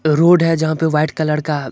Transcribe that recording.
road है जहाँ पर व्हाइट कलर का --